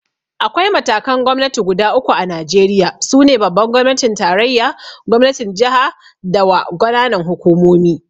Akwai matakan Gwamnati guda uku a Najeriya, su ne Babban gwamnatin tarayya, Gwamnatin jaha da W ƙananan hukumomi